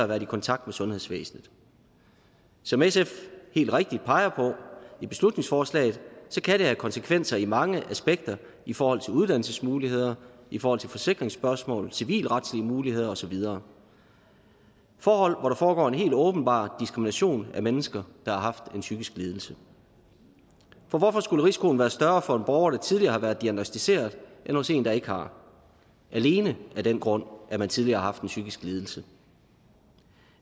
været i kontakt med sundhedsvæsenet som sf helt rigtigt peger på i beslutningsforslaget kan det have konsekvenser i mange aspekter i forhold til uddannelsesmuligheder i forhold til forsikringsspørgsmål civilretlige muligheder og så videre forhold hvor der foregår en helt åbenbar diskrimination af mennesker der har haft en psykisk lidelse for hvorfor skulle risikoen være større for en borger der tidligere har været diagnosticeret end hos en der ikke har alene af den grund at man tidligere har haft en psykisk lidelse